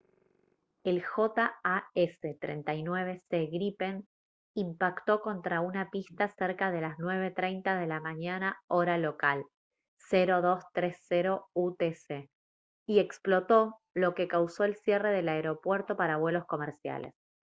el jas 39c gripen impactó contra una pista cerca de las 9:30 de la mañana hora local 0230 utc y explotó lo que causó el cierre del aeropuerto para vuelos comerciales